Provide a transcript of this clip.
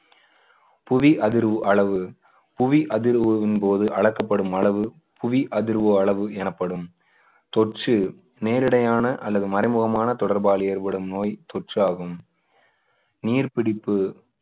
புவி அதிர்வு அளவு புவி அதிர்வின்போது அளக்கப்படும் அளவு புவி அதிர்வு அளவு எனப்படும் தொற்று நேரடியான அல்லது மறைமுகமான தொடர்பால் ஏற்படும் நோய் தொற்று ஆகும் நீர் பிடிப்பு